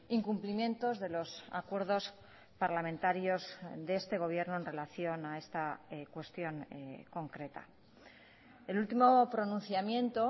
incumplimientos de los acuerdos parlamentarios de este gobierno en relación a esta cuestión concreta el último pronunciamiento